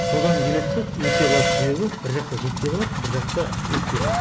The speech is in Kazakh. содан келеді де өтпей қалатын себебі бір жақта жетпей қалады бір жақта өтпей қалады